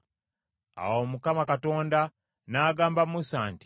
Awo Mukama Katonda n’agamba Musa nti,